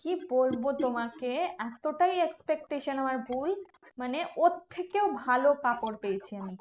কি বলবো তোমাকে? এতটাই expectation আমার ভুল, মানে ওর থেকেও ভালো কাপড় পেয়েছি আমি।